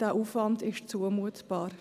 dieser Aufwand ist zumutbar.